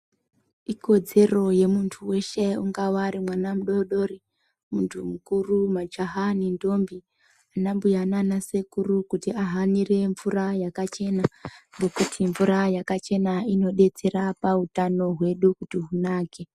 Ikodzero yemuntu weshe jngava ari mwana mudodori muntu mukuru majaha nendombi ana mbuya nana sekuru kuti ahanire mvura yakachena ngekuti mvura yakachena inodetsera pautano hwedu kuti hunake.